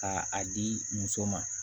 Ka a di muso ma